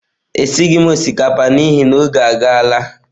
Esighị m osikapa n'ihi na oge agaala